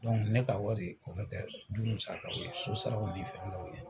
ne ka wari, o bɛ kɛ du musakaw ye, so saraw ni fɛngɛw ye